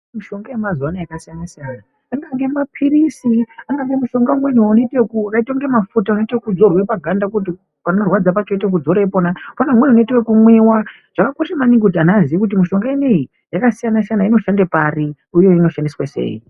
Mishonga yemazuwano yakasiyana siyana angange maphirizi angange mishonga umwe wakaitenge mafuta unoite ekudzorwa paganda kuti panorwadza pacho woite ekudzora ipona, pane umweni unoite ekumwiwa zvakakosha maningi kuti antu aziye kuti mishonga ineyi yakasiyana siyana inoshande pari uye inoshandiswa pari.